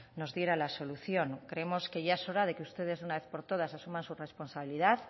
nos diera la solución creemos que ya es hora de que ustedes por una vez por todas asuman su responsabilidad